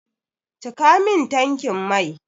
Cika min tankin mai!